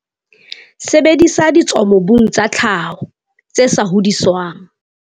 Sebedisa ditswamobung tsa tlhaho, tse sa hodiswang.